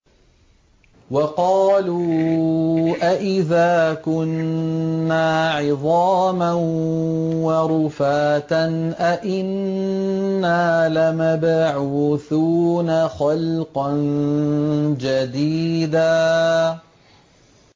وَقَالُوا أَإِذَا كُنَّا عِظَامًا وَرُفَاتًا أَإِنَّا لَمَبْعُوثُونَ خَلْقًا جَدِيدًا